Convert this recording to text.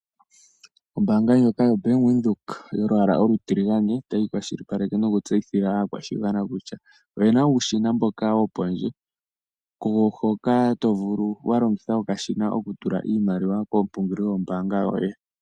Ombaanga ndjoka yoBank Windhoek yolwaala olutiligane, otayi kwashilipaleke nokutseyithila aakwashigwana kusha, oyena uushina mboka wopondje, kuwo hoka tovulu walongitha okashina okutula iimaliwa komupungulilo gombanga yoye.